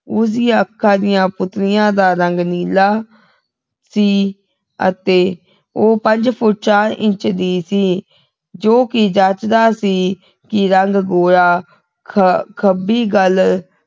ਉਸਦੀਆਂ ਅੱਖਾਂ ਦੀਆਂ ਪੁਤਲੀਆਂ ਦਾ ਰੰਗ ਨੀਲਾ ਸੀ ਅਤੇ ਉਹ ਪੰਜ ਫੁੱਟ ਚਾਰ ਇੰਚ ਦੀ ਸੀ ਜੋਕਿ ਜਚਦਾ ਸੀ ਕਿ ਰੰਗ ਗੋਰਾ ਖ ਖੱਬੀ ਗੱਲ